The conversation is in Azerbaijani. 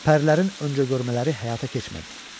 Pərilərin öncə görmələri həyata keçmədi.